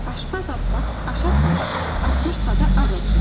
Aşpaz Abbas aş asmış, asmışsa da az asmış.